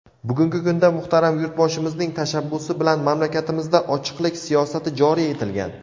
Bugungi kunda muhtaram Yurtboshimizning tashabbusi bilan mamlakatimizda ochiqlik siyosati joriy etilgan.